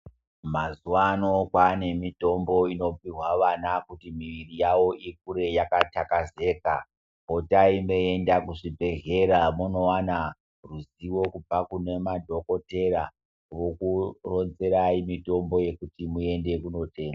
Mazuwano kwane mitombo inopihwa vana kuti mwiri yavo ikure yakatakazeka. Potai mweienda kuzvibhehlera mondowana ruzivo kubva kune madhokodheya vokuronzerai mitombo yekuti muenda kunotenga.